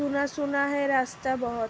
सुना-सुना है रास्ता बहोत --